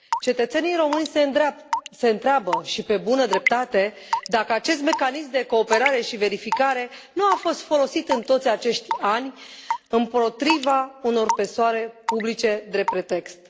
Cetățenii români se întreabă, și pe bună dreptate, dacă acest mecanism de cooperare și verificare nu a fost folosit, în toți acești ani, împotriva unor persoane publice, drept pretext.